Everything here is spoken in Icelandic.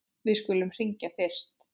Við skulum hringja fyrst.